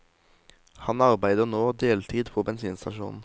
Han arbeider nå deltid på bensinstasjon.